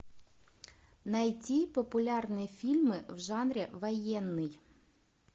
найти популярные фильмы в жанре военный